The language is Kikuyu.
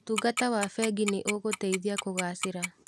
ũtungata wa bengi no ũgũteithie kũgacĩra.